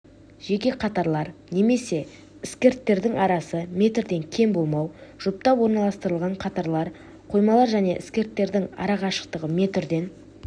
жеке қатарлар немесе іскірттердің арасы метрден кем болмау жұптап орналастырылған қатарлар қоймалар және іскірттердің арақашықтығы метрден